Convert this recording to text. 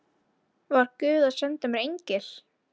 Var guð að senda mér engil?